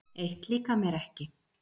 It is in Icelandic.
Eitt líkar mér ekki.